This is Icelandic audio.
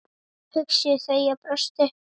hugsuðu þau og brostu.